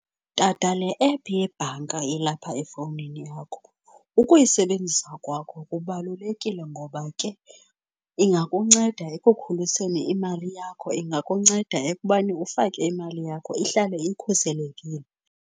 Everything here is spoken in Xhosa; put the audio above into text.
Tata, le ephu yebhanka elapha efouwnini yakho ukuyisebenzisa kwakho kubalulekile ngoba ke ingakunceda ekukhuliseni imali yakho, ingakunceda ekubani ufake imali yakho ihlale ikhuselekile.